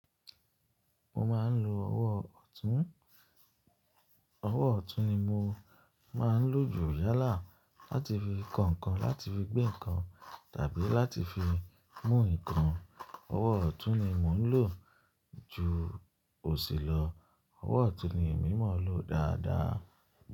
Mo máa ń lo ọwọ́ ọ̀tún, ọwọ́ ọ̀tún ni mo máa ń lò jù yálà láti fi ko nǹkan, láti fi gbé nǹkan tàbí láti fi mú nǹkan. Ọwọ́ ọ̀tún ni mo ń lò ju òsì lọ. Ọwọ́ ọ̀tún ni èmi mọ̀ lò dáadáa.